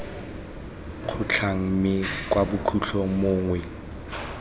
kgotlhang mme kwa bokhutlhong mongwe